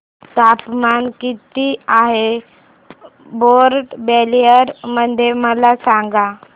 तापमान किती आहे पोर्ट ब्लेअर मध्ये मला सांगा